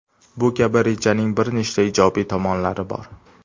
Bu kabi rejaning bir nechta ijobiy tomonlari bor.